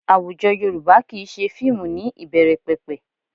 Àwùjọ Yorùbá kì í ṣe fíìmù ní ìbẹ̀rẹ̀pẹ̀pẹ̀